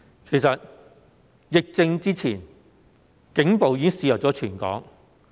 其實，在疫症發生前，警暴已經肆虐全港。